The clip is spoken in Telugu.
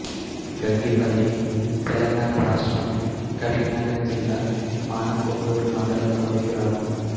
గంగిపల్లి తెలంగాణ రాష్ట్రం కరీంనగర్ జిల్లా మానకొండూరు మండలంలోని గ్రామం